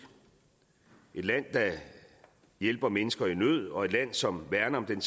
et land der hjælper mennesker i nød og et land som værner om den